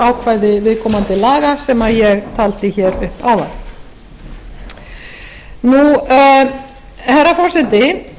ákvæði viðkomandi laga sem ég taldi hér upp áðan herra forseti